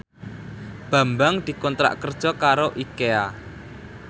Bambang dikontrak kerja karo Ikea